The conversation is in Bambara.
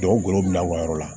Jɔw bila u ka yɔrɔ la